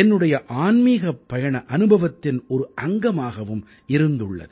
என்னுடைய ஆன்மீகப் பயண அனுபவத்தின் ஒரு அங்கமாகவும் இருந்துள்ளது